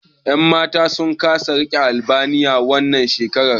Yan Matan sun saka rigar Albaniya, wannan shekarar.